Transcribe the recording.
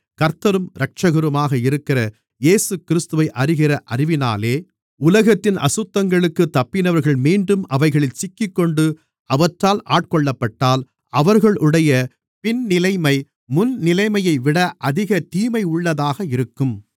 கர்த்தரும் இரட்சகருமாக இருக்கிற இயேசுகிறிஸ்துவை அறிகிற அறிவினாலே உலகத்தின் அசுத்தங்களுக்குத் தப்பினவர்கள் மீண்டும் அவைகளில் சிக்கிக்கொண்டு அவற்றால் ஆட்கொள்ளப்பட்டால் அவர்களுடைய பின்னிலைமை முன்னிலைமையைவிட அதிக தீமையுள்ளதாக இருக்கும்